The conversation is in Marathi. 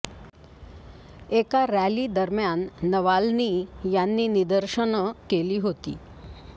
एका रॅली दरम्यान नवाल्नी यांनी निदर्शनं केली होती